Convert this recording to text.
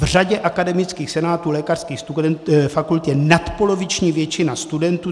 V řadě akademických senátů lékařských fakult je nadpoloviční většina studentů.